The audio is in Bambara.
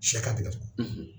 Sɛ ka